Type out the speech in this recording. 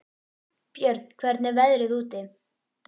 Björn, hvernig er veðrið úti?